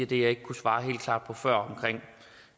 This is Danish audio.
det jeg ikke kunne svare helt klart på før om